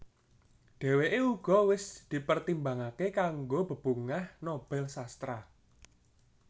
Dhèwèké uga wis dipertimbangaké kanggo Bebungah Nobel Sastra